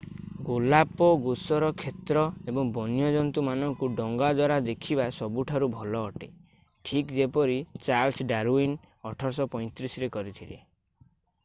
ଗାଲାପାଗୋସର କ୍ଷେତ୍ର ଏବଂ ବନ୍ୟଜନ୍ତୁ ମାନଙ୍କୁ ଡଙ୍ଗା ଦ୍ଵାରା ଦେଖିବା ସବୁଠାରୁ ଭଲ ଅଟେ ଠିକ୍ ଯେପରି ଚାର୍ଲ୍ସ ଡାରୱିନ୍ 1835 ରେ କରିଥିଲେ